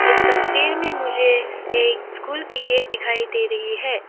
इस तस्वीर में मुझे एक स्कूल की गेट दिखाई दे रही है।